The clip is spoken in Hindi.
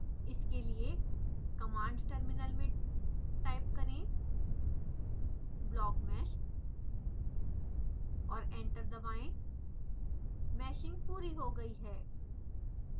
इसके लिए कमांड टर्मिनल में टाइप करें blockmesh और एंटर दबाएं मैशिंग पूरी हो गयी है